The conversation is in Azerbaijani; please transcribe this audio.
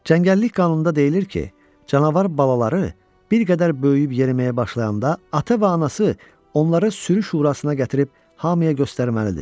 Cəngəllik qanununda deyilir ki, canavar balaları bir qədər böyüyüb yeriməyə başlayanda ata və anası onları sürü şurasına gətirib hamıya göstərməlidir.